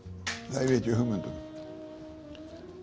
það hef ég ekki hugmynd um